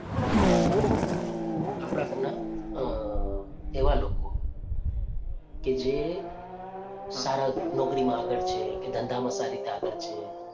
આપણાં અ એવા લોકો કે જે સારી નોકરીમાં આગળ છે કે ધંધામાં સારી રીતે આગળ છે.